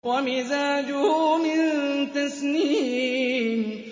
وَمِزَاجُهُ مِن تَسْنِيمٍ